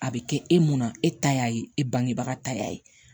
A bɛ kɛ e mun na e ta y'a ye e bangebaga ta y'a ye